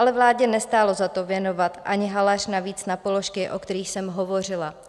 Ale vládě nestálo za to věnovat ani haléř navíc na položky, o kterých jsem hovořila.